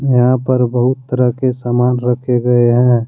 यहां पर बहुत तरह के सामान रखे गए हैं।